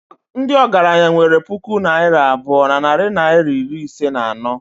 ndị ọgaranya nwere puku naira abụọ na narị naịra iri ise na anọ